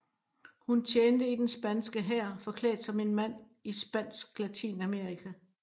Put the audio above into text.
Hun tjente i den spanske hær forklædt som en mand i spansk Latinamerika